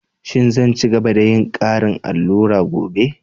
Shin zan ci gaba da yin ƙarin allura gobe?